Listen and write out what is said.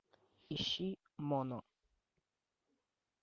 ищи моно